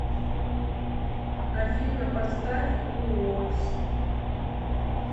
афина поставь уокс